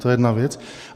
To je jedna věc.